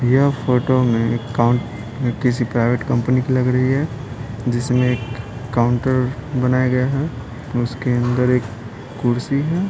यह फोटो में काउंट किसी प्राइवेट कंपनी की लग रही है जिसमें एक काउंटर बनाया गया है उसके अंदर एक कुर्सी है।